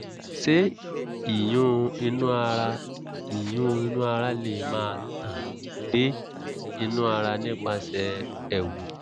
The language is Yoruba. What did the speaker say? ṣé ìyún inú ara ìyún inú ara lè máa tàn dé inú ara nípasẹ̀ ẹ̀wù?